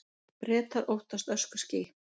Bretar óttast öskuský